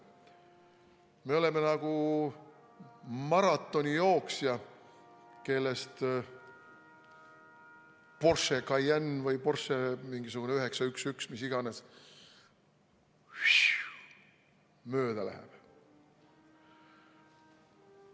Me oleme nagu maratonijooksja, kellest Porsche Cayenne või Porsche mingisugune 911 või mis iganes mööda läheb.